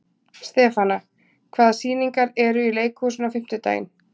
Stefana, hvaða sýningar eru í leikhúsinu á fimmtudaginn?